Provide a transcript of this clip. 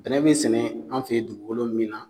Bɛnɛ be sɛnɛ an fe ye dugukolo min na